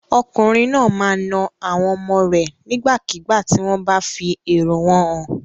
Ọkùnrin náà máa na àwọn ọmọ rẹ̀ nígbàkigbà tí wọ́n bá fi èrò wọn hàn.